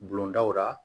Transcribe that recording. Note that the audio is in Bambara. Bulon daw la